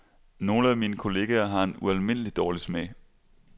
Nogle af mine kollegaer har en ualmindelig dårlig smag.